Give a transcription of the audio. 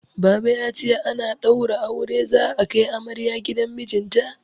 Baba ya ce ana ɗaura aure za'a kai amarya gidan mijinta.